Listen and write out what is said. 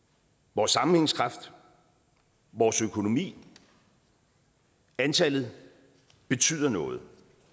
vores sammenhængskraft vores økonomi antallet betyder noget